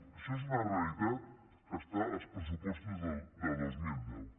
això és una realitat que està als pressupostos del dos mil deu